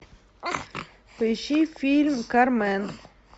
поищи фильм кармен